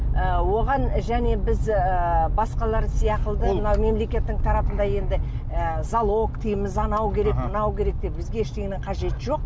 ы оған және біз ыыы басқалар сияқты мына мемлекеттің тарапында енді ы залог дейміз анау керек мынау керек деп бізге ештеңенің қажеті жоқ